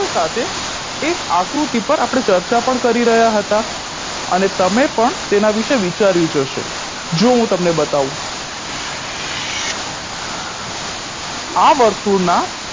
એક આકૃતિ પર આપણે ચર્ચા પણ કરી રહ્યા હતા અને તમે પણ તેના વિશે વિચાર્યું જ હશે જો હું તમને બતાવુ આ વર્તુળના